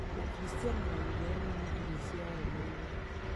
Ũkristiano na Gĩithĩramu nĩ ndini cirarũmĩrĩrwo.